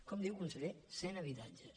com diu conseller cent habitatges